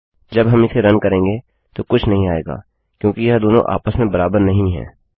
जब हम इसे रन करेगें तो कुछ नहीं आएगा क्योंकि यह दोनों आपस में बराबर नहीं है